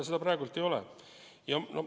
Seda praegu ei ole.